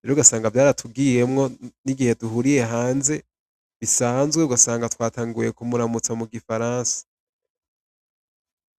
rero ugasanga vyaratugiyemwo nigihe duhuriye hanze bisanzwe ugasanga twatanguye kumuramutsa mugifaransa.